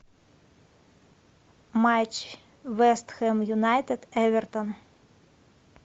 матч вест хэм юнайтед эвертон